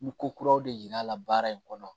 Ni ko kuraw de yira a la baara in kɔnɔ